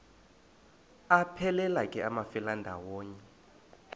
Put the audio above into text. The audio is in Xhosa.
aphelela ke amafelandawonye